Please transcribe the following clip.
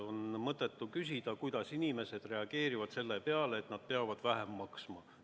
On mõttetu küsida, kuidas inimesed reageerivad selle peale, et nad peavad vähem maksma.